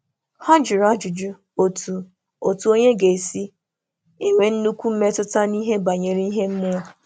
Hà jụrụ Hà jụrụ ajụjụ gbasàra otú otu mmadụ kwesị isi nwee nnukwu mmetụta n’ihe ime mmụọ.